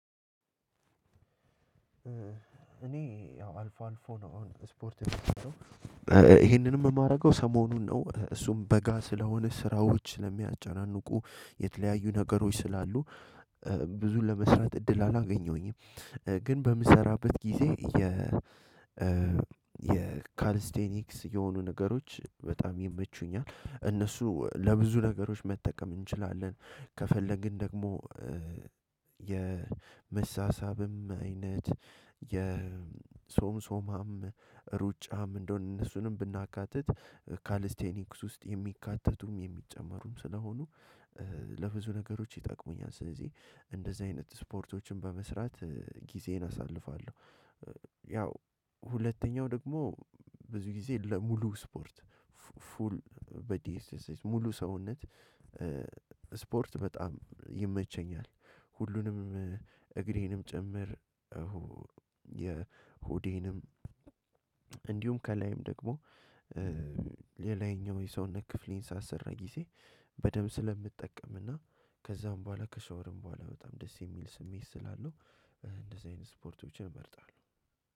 እኔ ያው አልፎ አልፎ ነው አሁን ስፖርት ይሄንንም የማደርገው ሰሞኑን ነው እሱም በጋ ስለሆነ ስራዎች ስለሚያጨናንቁ የተለያዩ ነገሮች ስላሉ ብዙን ለመስራት እድል አላገኘሁኝም። ግን በምሰራበት ጊዜ የ የካሊስቴኒክስ የሆኑ ነገሮች በጣም ይመቹኛል እነሱ ለብዙ ነገሮች መጠቀም እንችላለን ከፈለግን ደግሞ የመሳሳብም አይነት የሶምሶማም ሩጫም እንደውም እነሱንም ብናካትት ካሊስቴኒክስ ውስጥ የሚካተቱም የሚጨመሩም ስለሆኑ ለብዙ ነገሮች ይጠቅሙኛል ስለዚህ እንደዚህ አይነት ስፖርቶችን በመስራት ጊዜን አሳልፋለሁ። ያው ሁለተኛው ደግሞ ብዙ ጊዜ ለሙሉ ስፖርት ፉል በዲኤስኤስ ሙሉ ሰውነት ስፖርት በጣም ይመቸኛል ሁሉንም እግሬንም ጭምር እሁ የሆዴንም እንዲሁም ከላይም ደግሞ የላኛው የሰውነት ክፍሌን ሳሰራ ጊዜ በደንብ ስለምጠቀምና ከዛም በኋላ ከሻወርም በኋላ በጣም ደስ የሚል ስሜት ስላለው እንደዚህ አይነት ስፖርቶችን እመርጣለሁ።